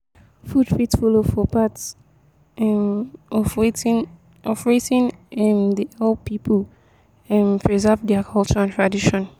food fit follow for part um of wetin of wetin um dey help pipo um preserve their culture and tradition